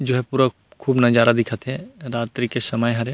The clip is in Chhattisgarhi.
जो है पूरा खूब नजारा दिखत हे रात्रि के समय हरे।